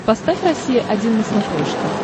поставь россия один на смотрешке